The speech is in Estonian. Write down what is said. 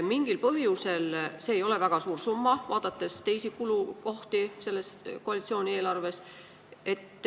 See ei ole väga suur summa, kui võrrelda teiste kulukohtadega selles koalitsiooni eelarves.